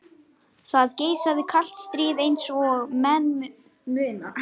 Það geisaði kalt stríð eins og menn muna.